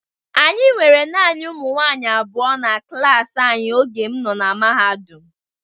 Anyị nwere naanị ụmụ nwaanyị abụọ na klaasị anyị oge m nọ na mahadum.